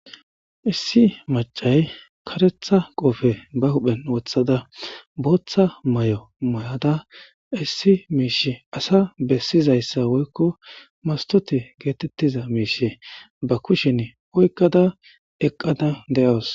issi macay karetha qofe ba huphen wooththada booththa mayo mayada issi miishi asa bessizayssa woykko mastote geetettiza miishe ba kushin oykkada eqqada de'wus